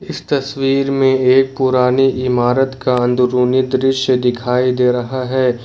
इस तस्वीर में एक पुरानी इमारत का अंदरूनी दृश्य दिखाई दे रहा है।